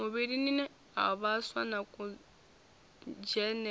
muvhilini ha vhaswa na kudzhenele